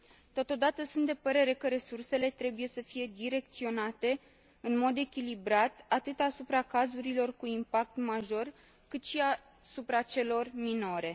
Totodată, sunt de părere că resursele trebuie să fie direcționate în mod echilibrat, atât asupra cazurilor cu impact major, cât și asupra celor minore.